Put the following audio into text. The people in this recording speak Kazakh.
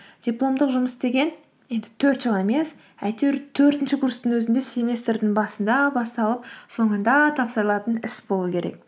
дипломдық жұмыс деген енді төрт жыл емес әйтеуір төртінші курстың өзінде семестрдің басында басталып соңында тапсырылатын іс болу керек